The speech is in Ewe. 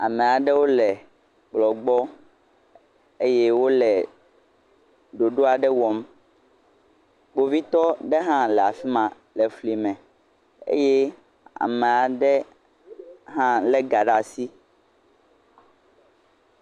Amea ɖewo le kplɔ gbɔ eye wole ɖoɖo aɖe wɔm, kpovitɔ aɖe hã le afi ma le fli eye amea ɖe hã lé ga ɖe asi.